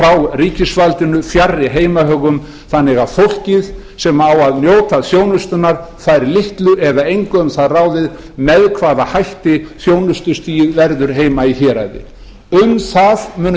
frá ríkisvaldinu fjarri heimahögum þannig að fólkið sem á að njóta þjónustunnar fær litlu eða engu um það ráðið með hvaða hætti þjónustustigið verður heima í héraði um það munu